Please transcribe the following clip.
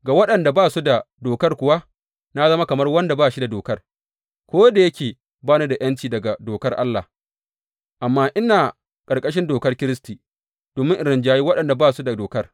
Ga waɗanda ba su da Dokar kuwa, na zama kamar wanda ba shi da Dokar ko da yake ba ni da ’yanci daga dokar Allah, amma ina ƙarƙashin dokar Kiristi, domin in rinjayi waɗanda ba su da dokar.